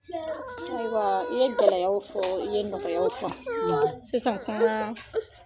ayiwaa i ye gɛlɛyaw fɔɔ i ye nɔgɔyaw fɔ. sisan kaan